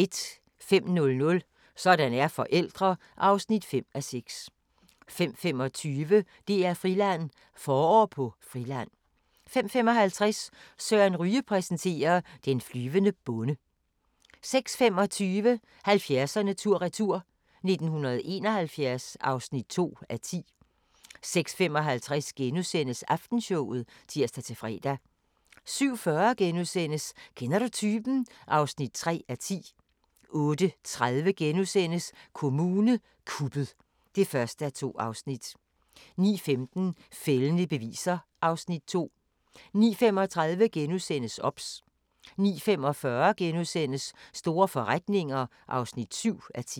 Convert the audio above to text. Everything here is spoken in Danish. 05:00: Sådan er forældre (5:6) 05:25: DR-Friland: Forår på Friland 05:55: Søren Ryge præsenterer: Den flyvende bonde 06:25: 70'erne tur-retur: 1971 (2:10) 06:55: Aftenshowet *(tir-fre) 07:40: Kender du typen? (3:10)* 08:30: Kommune kuppet (1:2)* 09:15: Fældende beviser (Afs. 2) 09:35: OBS * 09:45: Store forretninger (7:10)*